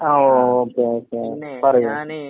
ആഹ് okay okay പറയൂ.